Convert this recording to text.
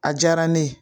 A diyara ne ye